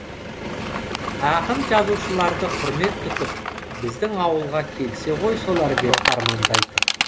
ақын жазушыларды құрмет тұтып біздің ауылға келсе ғой солар деп армандайтын